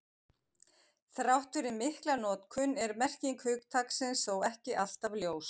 Þrátt fyrir mikla notkun er merking hugtaksins þó ekki alltaf ljós.